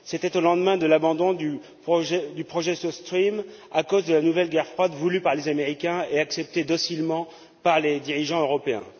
C'était au lendemain de l'abandon du projet South Stream à cause de la nouvelle guerre froide voulue par les Américains et acceptée docilement par les dirigeants européens.